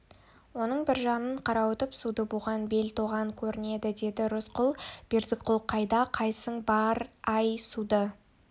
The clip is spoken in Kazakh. оның бір жағынан қарауытып суды буған бел тоған көрінді деді рысқұл бердіқұл қайда қайсың бар-ай суды